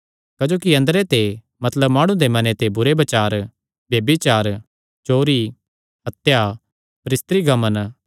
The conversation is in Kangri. क्जोकि अंदरे ते मतलब माणु दे मने ते बुरेबुरे बचार ब्यभिचार चोरी हत्या परस्त्रीगमन